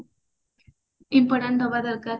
important ଦବା ଦରକାର